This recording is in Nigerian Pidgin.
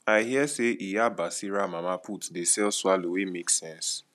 i hear sey iya basira mama put dey sell swallow wey make sense